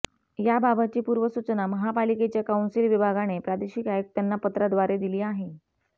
याबाबतची पूर्वसूचना महापालिकेच्या कौन्सिल विभागाने प्रादेशिक आयुक्तांना पत्राद्वारे दिली आहे